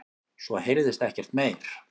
Svo heyrðist ekkert meir.